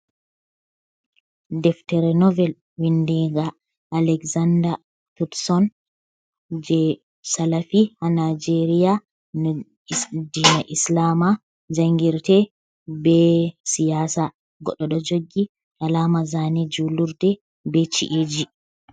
Deftere novel windiga alexandar thutson je salafi ha nijeria na dina islama jangirte be siyasa goɗɗo ɗo joggi alama zane jullurde be chi, eji.